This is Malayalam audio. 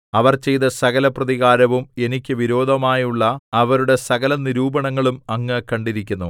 അവർ ചെയ്ത സകലപ്രതികാരവും എനിക്ക് വിരോധമായുള്ള അവരുടെ സകലനിരൂപണങ്ങളും അങ്ങ് കണ്ടിരിക്കുന്നു